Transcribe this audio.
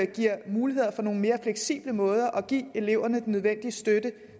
giver mulighed for nogle mere fleksible måder at give eleverne den nødvendige støtte